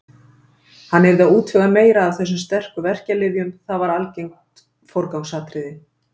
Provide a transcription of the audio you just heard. Hann yrði að útvega meira af þessum sterku verkjalyfjum, það var algert forgangsatriði.